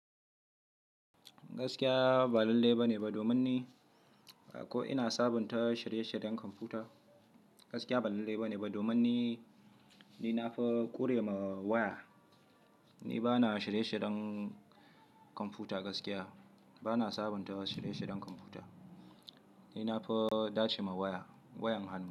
Gaskiya ba lalle ba ne ba domin ni ko ina sabunta shirye-shiryen kwamfuta. Gaskiya ba lalle ba ne ba domin ni, ni na fi ƙure ma waya. Ni ba na shirye-shiryen kwamfuta gaskiya, ba na sabunta shirye-shiryen kwamfuta. Ni na fi dace ma waya, wayan hannu.